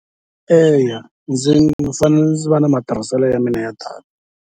Eya ndzi fanele ndzi va na matirhiselo ya mina ya data.